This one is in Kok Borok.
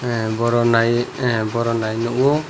ah boro nai ah boro nai nuko.